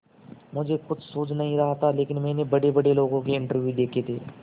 मुझे कुछ सूझ नहीं रहा था लेकिन मैंने बड़ेबड़े लोगों के इंटरव्यू देखे थे